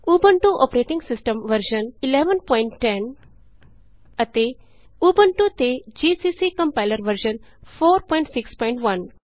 Ubuntu operating system version 1110 ਅਤੇ Ubuntu ਤੇ GCC compiler version 461